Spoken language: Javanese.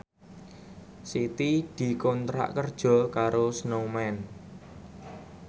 Siti dikontrak kerja karo Snowman